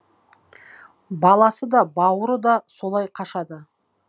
баласы да бауыры да солай қашады